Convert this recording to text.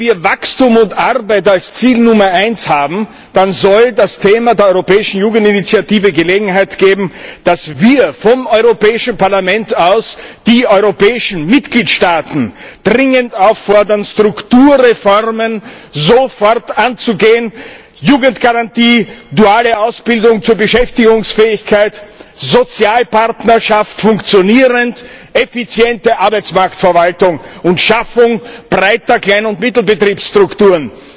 Wenn wir Wachstum und Arbeit als Ziel Nummer 1 haben, dann soll das Thema der Europäischen Jugendinitiative Gelegenheit geben, dass wir vom Europäischen Parlament aus die europäischen Mitgliedstaaten dringend auffordern, Strukturreformen sofort anzugehen Jugendgarantie, duale Ausbildung zur Beschäftigungsfähigkeit, funktionierende Sozialpartnerschaft, effiziente Arbeitsmarktverwaltung und Schaffung breiter Klein und Mittelbetriebsstrukturen.